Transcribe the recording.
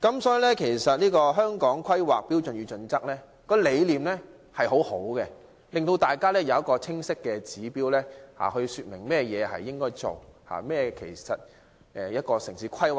所以，《規劃標準》的理念相當好，提供一個清晰的指標，說明甚麼應該做及何謂城市規劃。